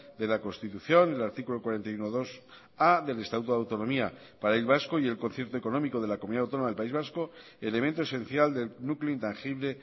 de la constitución en el artículo cuarenta y unobigarrena del estatuto de autonomía del país vasco y el concierto económico de la comunidad autónoma del país vasco elemento esencial del núcleo intangible